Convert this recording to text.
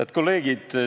Head kolleegid!